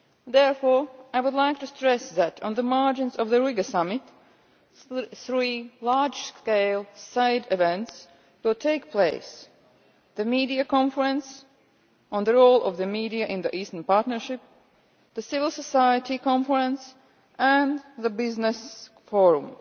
Therefore, I would like to stress that, on the margins of the Riga Summit, three large scale side events will take place the media conference on the role of the media in the Eastern Partnership, the civil society conference and the business forum.